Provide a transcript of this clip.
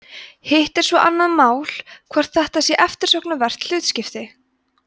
hitt er svo annað mál hvort þetta sé eftirsóknarvert hlutskipti